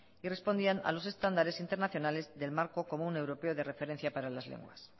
y respondían a los estándares internacionales del marco común europeo de referencia para las lenguas